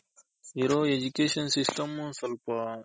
ಈಗ ಇರೋ Education system ಸ್ವಲ್ಪ